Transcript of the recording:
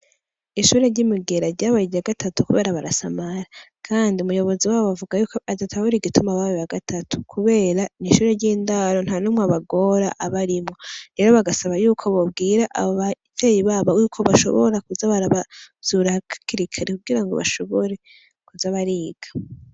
Ishure ry'imugera ryabaye irya gatatu kubera barasamara kandi umuyobozi wabo bavugako adatahura igituma babaye abagatatu kubera n'ishure ry'indaro ntanumwe abagora abarimwo rero bagasaba yuko bobwira abo bavyeyi babo yuko bishobora kuza barabavyura hakiri kare kugirango bashobore kuza bariga.